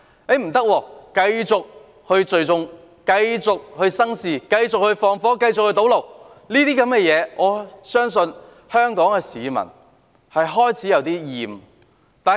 他們卻說不可以，繼續聚眾生事、縱火、堵路等，我相信香港市民對此已開始感到厭倦。